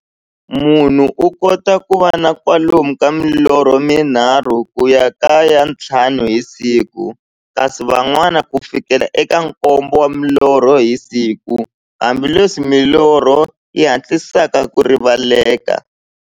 Munhu u kota ku va na kwalomu ka milorho mi nharhu ku ya ka ya nthlanu hi siku, kasi van'wana ku fikela eka nkombo wa milorho hi siku, hambileswi milorho yi hatlisaka ku rivaleka.